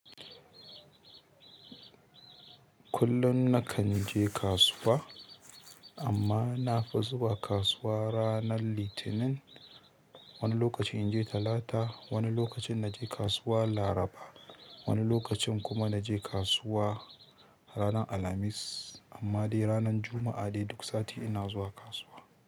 Kullum na kan je kasuwa amma na fi zuwa kasuwa ranar Litinin. Wani lokaci in je Talata, wani lokacin na je kasuwa Laraba, wani lokacin kuma na je kasuwa ranar Alhamis. Amma dai ranar Juma'a dai duk sati ina zuwa kasuwa.